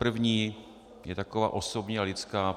První je taková osobní a lidská.